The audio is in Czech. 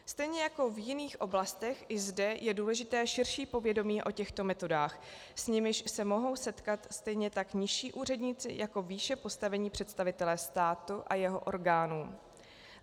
Stejně jako v jiných oblastech i zde je důležité širší povědomí o těchto metodách, s nimiž se mohou setkat stejně tak nižší úředníci jako výše postavení představitelé státu a jeho orgánů.